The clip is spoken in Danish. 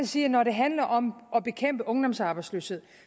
sige at når det handler om at bekæmpe ungdomsarbejdsløshed